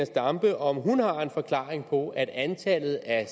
stampe om hun har en forklaring på at antallet af